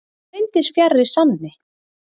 það reyndist fjarri sanni